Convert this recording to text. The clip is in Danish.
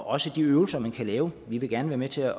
også de øvelser man kan lave vi vil gerne være med til at